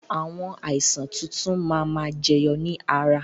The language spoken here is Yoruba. Àwọn àìsàn tuntun máa ma jẹyọ ni ara